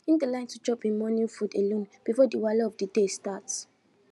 e dey like to chop em morning food alone before the wahala of the day start